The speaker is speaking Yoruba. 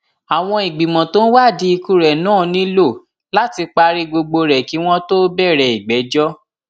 àwọn ìgbìmọ tó ń wádìí ikú rẹ náà nílò láti parí gbogbo rẹ kí wọn tóó bẹrẹ ìgbẹjọ